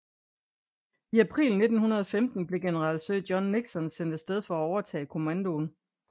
I april 1915 blev general Sir John Nixon sendt afsted for at overtage kommandoen